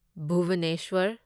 Bhubaneswar